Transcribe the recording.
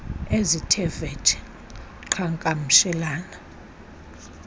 ezithe vetshe qhagamshelana